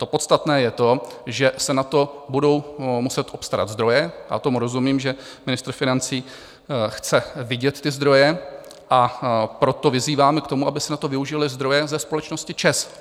To podstatné je to, že se na to budou muset obstarat zdroje, a tomu rozumím, že ministr financí chce vidět ty zdroje, a proto vyzýváme k tomu, aby se na to využily zdroje ze společnosti ČEZ.